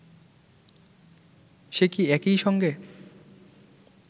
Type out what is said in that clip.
সে কি একই সঙ্গে